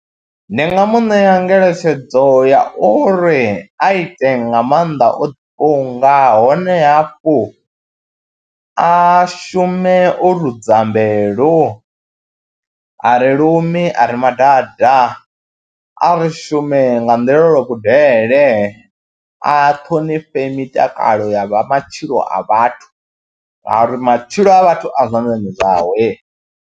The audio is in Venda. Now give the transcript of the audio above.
Ndi nga mu ṋea ngeletshedzo ya uri a ite nga maanḓa o ḓifunga hone hafhu a shume o rudza mbilu, a ri lumi, a ri madada. A ri shume nga nḓila lwa kudele, a ṱhonifhe mitakalo ya vha matshilo a vhathu ngauri matshilo a vhathu a zwanḓani zwawe.